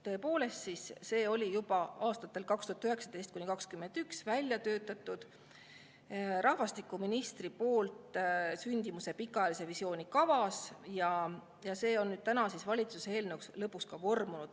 Tõepoolest, see oli juba aastatel 2019–2021 rahvastikuministri väljatöötatud sündimuse pikaajalise visiooni kavas ja on lõpuks valitsuse eelnõuks vormunud.